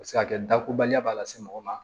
A bɛ se ka kɛ dakoba la se mɔgɔ ma